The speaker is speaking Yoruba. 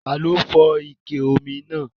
Taló fọ́ ike omi náà?